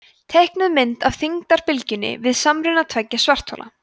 teiknuð mynd af þyngdarbylgjum við samruna tveggja svarthola